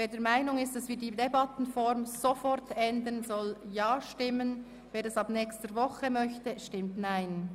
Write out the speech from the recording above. Wer der Meinung ist, dass wir die Debattenform per sofort ändern, stimmt Ja, wer dies erst ab nächster Woche möchte, stimmt Nein.